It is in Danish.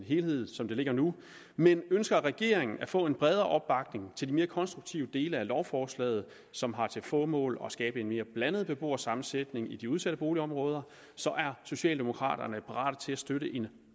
helhed som det ligger nu men ønsker regeringen at få en bredere opbakning til de mere konstruktive dele af lovforslaget som har til formål at skabe en mere blandet beboersammensætning i de udsatte boligområder er socialdemokraterne parate til at støtte en